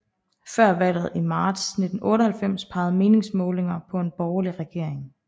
Før valget i marts 1998 pegede meningsmålinger på en borgerlig regering